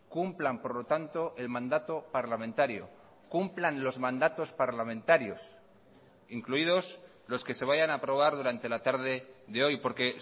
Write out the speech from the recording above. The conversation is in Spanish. cumplan por lo tanto el mandato parlamentario cumplan los mandatos parlamentarios incluidos los que se vayan a aprobar durante la tarde de hoy porque